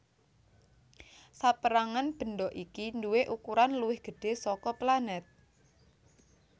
Sapérangan bendha iki nduwé ukuran luwih gedhé saka planèt